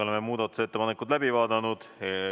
Oleme muudatusettepanekud läbi vaadanud.